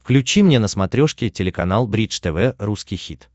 включи мне на смотрешке телеканал бридж тв русский хит